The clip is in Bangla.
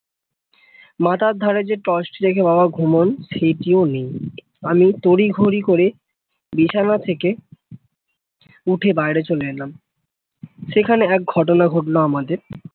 মাথার ধারে যে torch টি রেখে বাবা ঘুমোন সেটিও নেই আমি তোরি ধরি করে বিছানা থেকে উঠে বাইরে চলে এলাম সেখানে এক ঘটনা ঘটলো আমাদের